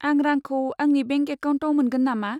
आं रांखौ आंनि बेंक एकाउन्टआव मोनगोन नामा?